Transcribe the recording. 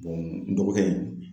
n dɔgɔkɛ in